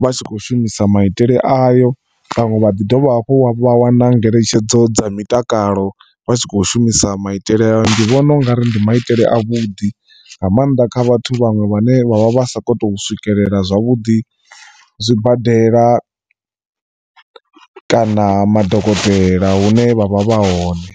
vha tshi kho shumisa maitele ayo. Vhaṅwe vha ḓi dovha hafhu wa wana ngeletshedzo dza mitakalo vha tshi kho shumisa maitele ayo ndi vhona ungari ndi maitele a vhuḓi nga maanḓa kha vhathu vhaṅwe vhane vhavha vhasa kho to swikelela zwavhuḓi zwibadela kana madokotela hune vha vha vha hone.